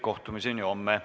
Kohtumiseni homme!